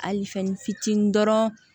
Ali fɛnnin fitinin dɔrɔn